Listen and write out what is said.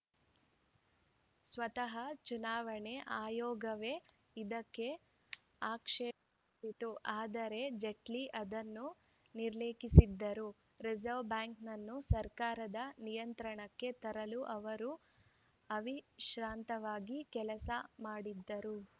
ಸ್ವತಃ ಚುನಾವಣಾ ಆಯೋಗವೇ ಇದಕ್ಕೆ ಆಕ್ಷೇಪವೆತ್ತಿತ್ತು ಆದರೆ ಜೇಟ್ಲಿ ಅದನ್ನು ನಿರ್ಲಕ್ಷಿಸಿದರು ರಿಸರ್ವ ಬ್ಯಾಂಕನ್ನು ಸರ್ಕಾರದ ನಿಯಂತ್ರಣಕ್ಕೆ ತರಲು ಅವರು ಅವಿಶ್ರಾಂತವಾಗಿ ಕೆಲಸ ಮಾಡಿದರು